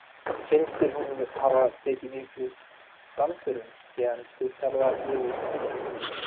Finnst þér hún hafa taka miklum framförum síðan þú þjálfaðir liðið síðast?